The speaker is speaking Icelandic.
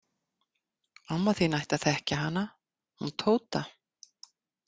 Amma þín ætti að þekkja hana, hún Tóta.